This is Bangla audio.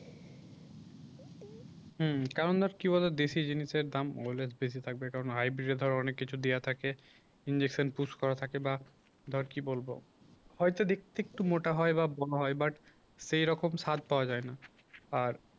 হুম কারণ দেখ কি বলতো দেশি জিনিসের দাম always বেশি থাকবে কারণ হাইবিটে ধর অনেক কিছু দেওয়া থাকে ইনজেকশন পুশ করা থাকে বা ধর কি বলব হয়তো দেখতে একটু মোটা হয় বা বর্ণ হয় বাট সেরকম সাদ পাওয়া যায় না আর